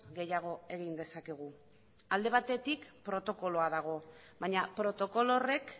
gehiago egin dezakegu alde batetik protokoloa dago baina protokolo horrek